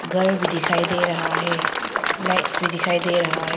घर भी दिखाई दे रहा है लाइट्स भी दिखाई दे रहा है।